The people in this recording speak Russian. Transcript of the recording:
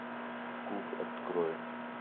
куб открой